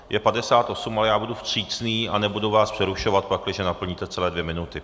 Je 58, ale já budu vstřícný a nebudu vás přerušovat, pakliže naplníte celé dvě minuty.